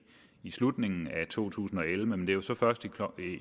i slutningen af to tusind og elleve men det er jo så først